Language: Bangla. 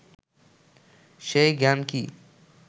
সেই জ্ঞান কি